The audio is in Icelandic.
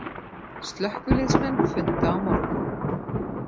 Slökkviliðsmenn funda á morgun